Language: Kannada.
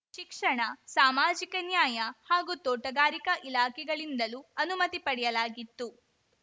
ಶಿಕ್ಷಣ ಸಾಮಾಜಿಕ ನ್ಯಾಯ ಹಾಗೂ ತೋಟಗಾರಿಕಾ ಇಲಾಖೆಗಳಿಂದಲೂ ಅನುಮತಿ ಪಡೆಯಲಾಗಿತ್ತು